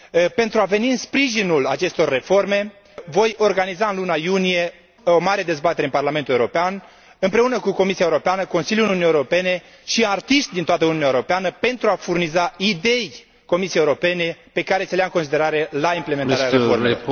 Pentru a veni în sprijinul acestor reforme, voi organiza în luna iunie o mare dezbatere în Parlamentul European împreună cu Comisia Europeană, Consiliul Uniunii Europene și artiști din toată Uniunea Europeană pentru a furniza idei Comisiei Europene, pe care să le ia în considerare la implementarea reformei.